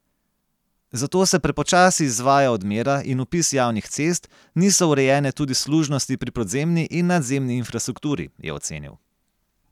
Zato se prepočasi izvaja odmera in vpis javnih cest, niso urejene tudi služnosti pri podzemni in nadzemni infrastrukturi, je ocenil.